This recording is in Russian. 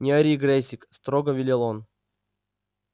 не ори грэйсик строго велел он